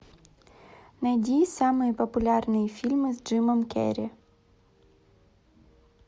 найди самые популярные фильмы с джимом керри